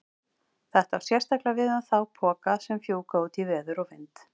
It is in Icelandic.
Þetta á sérstaklega við um þá poka sem fjúka út í veður og vind.